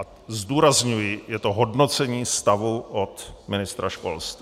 A zdůrazňuji, je to hodnocení stavu od ministra školství.